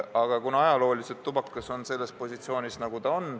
Aga ajalooliselt on tubakas sellel positsioonil, nagu ta on.